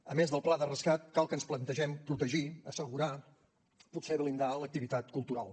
a més del pla de rescat cal que ens plantegem protegir assegurar potser blindar l’activitat cultural